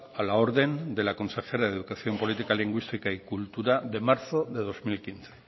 a la orden de la consejera de educación política lingüística y cultura de marzo de dos mil quince